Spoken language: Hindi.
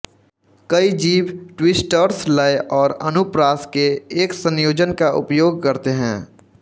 कई जीभ ट्विस्टर्स लय और अनुप्रास के एक संयोजन का उपयोग करते हैं